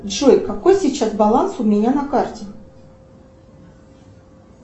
джой какой сейчас баланс у меня на карте